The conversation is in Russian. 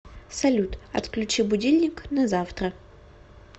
салют отключи будильник на завтра